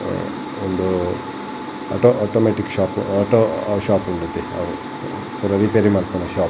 ಉಂದು auto automatic shop auto shop ಉಂಡತೆ ಅವು ರಿಪೇರಿ ಮನ್ಪುನ ಶಾಪ್ .